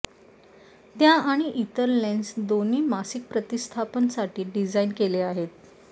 त्या आणि इतर लेन्स दोन्ही मासिक प्रतिस्थापन साठी डिझाइन केले आहेत